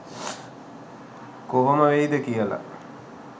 කොහොම වෙයිද කියල